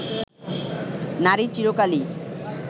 নারী চিরকালই